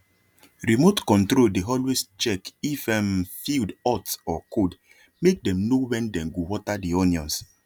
remote control dey always check if um field hot or coldmake dem no when dey go water the onions